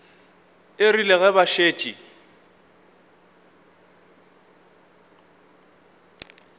e rile ge ba šetše